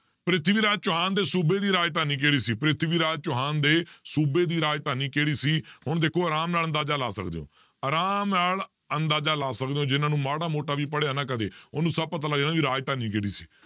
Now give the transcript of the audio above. ਪ੍ਰਿਥਵੀ ਰਾਜ ਚੌਹਾਨ ਦੇ ਸੂਬੇ ਦੀ ਰਾਜਧਾਨੀ ਕਿਹੜੀ ਸੀ ਪ੍ਰਿਥਵੀ ਰਾਜ ਚੌਹਾਨ ਦੇ ਸੂਬੇ ਦੀ ਰਾਜਧਾਨੀ ਕਿਹੜੀ ਸੀ ਹੁਣ ਦੇਖੋ ਆਰਾਮ ਨਾਲ ਅੰਦਾਜ਼ਾ ਲਾ ਸਕਦੇ ਹੋ ਆਰਾਮ ਨਾਲ ਅੰਦਾਜ਼ਾ ਲਾ ਸਕਦੇ ਹੋ ਜਿਹਨਾਂ ਨੂੰ ਮਾੜਾ ਮੋਟਾ ਵੀ ਪੜ੍ਹਿਆ ਨਾ ਕਦੇ ਉਹਨੂੰ ਸਭ ਪਤਾ ਲੱਗ ਜਾਂਦਾ ਵੀ ਰਾਜਧਾਨੀ ਕਿਹੜੀ ਸੀ,